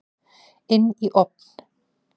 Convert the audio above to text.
Inn í ofn.